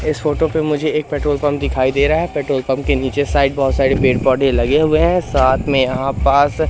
इस फोटो पे मुझे एक पेट्रोल पंप दिखाई दे रहा है पेट्रोल पंप के नीचे साइड बहोत सारे पेड़-पौधे लगे हुए हैं साथ में यहां पास --